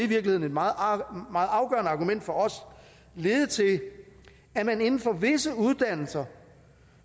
virkeligheden et meget afgørende argument for os lede til at man inden for visse uddannelser